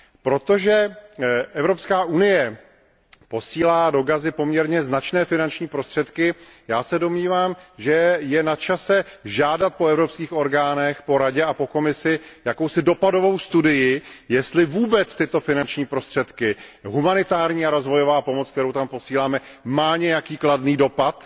Protože Evropská unie posílá do Gazy poměrně značné finanční prostředky, já se domnívám, že je načase žádat po evropských orgánech, po Radě a po Komisi, jakousi dopadovou studii, jestli vůbec tyto finanční prostředky, humanitární a rozvojová pomoc, kterou tam posíláme, mají nějaký kladný dopad